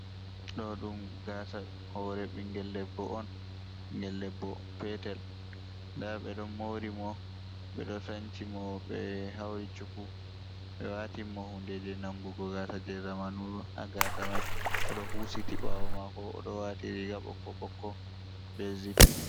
Ɗo ɗum gaasa hoore ɓinngel debbo on. Ɓinngel debbo petel ,ndaa ɓe ɗon moori mo ,ɓe ɗo sanci mo, ɓe hawri cuku ɓe waatin mo hunde jey nangugo gaasa jey zamanu. Haa gaasa may o ɗo huusiti ɓaawo maako, o ɗo waati riiga ɓokko ɓokko be zip.